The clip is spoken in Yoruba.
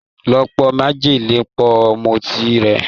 Lọ po májèlé pọ̀ mọ́ ọtí rẹ̀.